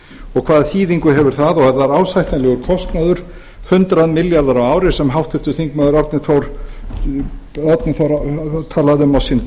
og hvaða þýðingu hefur það og er það ásættanlegur kostnaður hundrað milljarðar á ári sem háttvirtur þingmaður árni páll